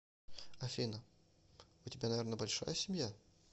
афина у тебя наверно большая семья